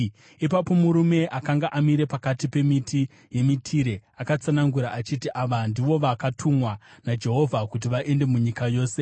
Ipapo murume akanga amire pakati pemiti yemitire akatsanangura achiti, “Ava ndivo vakatumwa naJehovha kuti vaende munyika yose.”